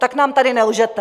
Tak nám tady nelžete.